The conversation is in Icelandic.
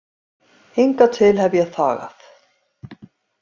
Hingað til hef ég þagað.